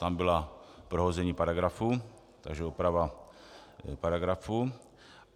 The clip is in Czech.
Tam bylo prohození paragrafu, takže oprava paragrafu.